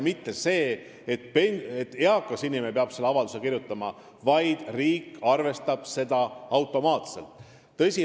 Eakas inimene ei pea enam seda avaldust kirjutama, riik arvestab seda automaatselt.